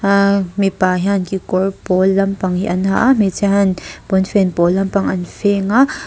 aaa mipa hian kekawr pawl lampang hi an ha a hmeichhia hian pawnfen pawl lampang an feng a.